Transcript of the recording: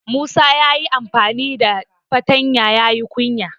Musa ya yi amfani da fatanya ya yi kunya.